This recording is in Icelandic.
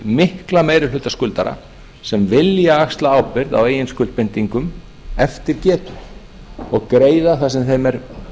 mikla meiri hluta skuldara sem vilja axla ábyrgð á eigin skuldbindingum eftir getu og greiða það sem þeim er